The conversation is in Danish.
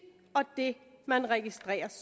og det man registreres